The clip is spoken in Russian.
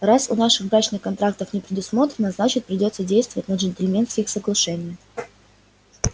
раз у нас брачных контрактов не предусмотрено значит придётся действовать на джентльменских соглашениях